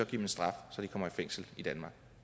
dem en straf så de kommer i fængsel i danmark